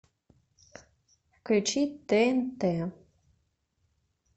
включить тнт